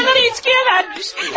Paraları içkiyə vermiş!